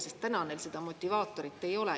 Sest täna neil seda motivaatorit ei ole.